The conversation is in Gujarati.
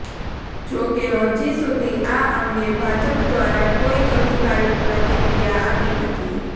જો કે હજી સુધી આ અંગે ભાજપ દ્વારા કોઇ અધિકારીક પ્રતિક્રિયા આપી નથી